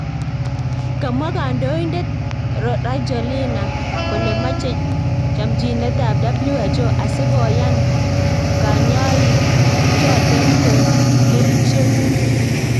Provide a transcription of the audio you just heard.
Kamwa kandoindet Rajoelina kole mache comchinet ab WHO asi koyan kainywanik choten koik kerichek